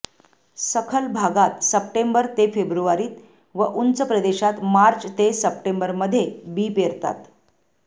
सखल भागात सप्टेंबर ते फेब्रुवारीत व उंच प्रदेशात मार्च ते सप्टेंबरमध्ये बी पेरतात